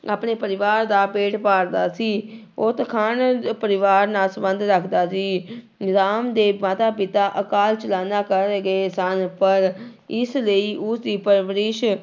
ਆਪਣੇ ਪਰਿਵਾਰ ਦਾ ਪੇਟ ਪਾਲਦਾ ਸੀ ਉਹ ਤਖਾਣ ਪਰਿਵਾਰ ਨਾਲ ਸੰਬੰਧ ਰੱਖਦਾ ਸੀ ਰਾਮ ਦੇ ਮਾਤਾ ਪਿਤਾ ਅਕਾਲ ਚਲਾਣਾ ਕਰ ਗਏ ਸਨ ਪਰ ਇਸ ਲਈ ਉਸਦੀ ਪਰਵਰਿਸ